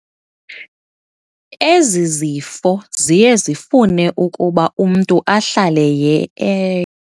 Ezi zifo ziye zifune ukuba umntu ahlale e.